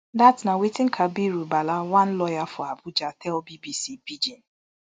dat na wetin kabiru bala one lawyer for abuja tell bbc pidgin